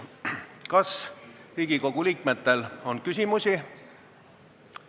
Kas Riigikogu liikmetel on küsimusi?